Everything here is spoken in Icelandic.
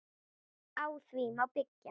Á því má byggja.